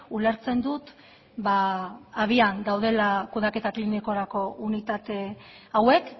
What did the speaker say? ulertzen dut abian daudela kudeaketa klinikorako unitate hauek